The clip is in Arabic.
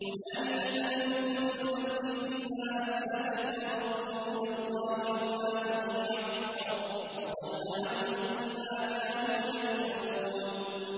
هُنَالِكَ تَبْلُو كُلُّ نَفْسٍ مَّا أَسْلَفَتْ ۚ وَرُدُّوا إِلَى اللَّهِ مَوْلَاهُمُ الْحَقِّ ۖ وَضَلَّ عَنْهُم مَّا كَانُوا يَفْتَرُونَ